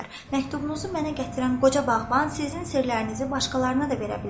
Məktubunuzu mənə gətirən qoca bağban sizin sirlərinizi başqalarına da verə bilər.